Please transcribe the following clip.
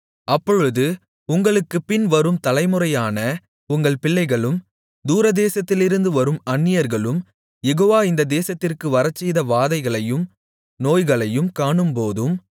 அப்பொழுது உங்களுக்குப்பின் வரும் தலைமுறையான உங்கள் பிள்ளைகளும் தூரதேசத்திலிருந்து வரும் அந்நியர்களும் யெகோவா இந்த தேசத்திற்கு வரச்செய்த வாதைகளையும் நோய்களையும் காணும்போதும்